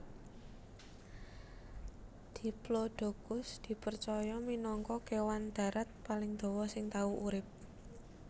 Diplodocus dipercaya minangka kèwan darat paling dawa sing tau urip